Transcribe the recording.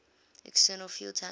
external fuel tanks